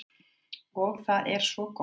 Og það er svo gott.